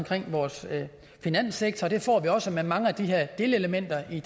til vores finanssektor og det får vi også med mange af de her delelementer i